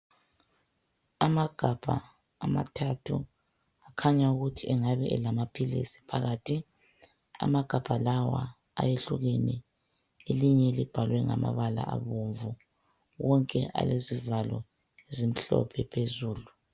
Amagabha amathathu, khanya ukuthi engabe elamaphilisi phakathi. Amagabha lawa ayehlukene, elinye libhalwe ngamabala abomvu. Wonke alezivalo ezimhlophe phezulu.